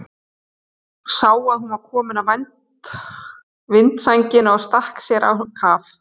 Sá að hún var komin að vindsænginni og stakk sér á kaf.